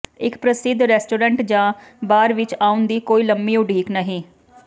ਇੱਕ ਪ੍ਰਸਿੱਧ ਰੈਸਟੋਰੈਂਟ ਜਾਂ ਬਾਰ ਵਿੱਚ ਆਉਣ ਦੀ ਕੋਈ ਲੰਮੀ ਉਡੀਕ ਨਹੀਂ